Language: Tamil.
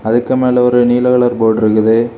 அதுக்கு மேல ஒரு நீல கலர் போர்டு இருக்குது.